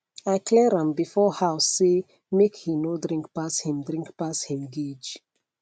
i clear am before house say make he no drink pass him drink pass him gauge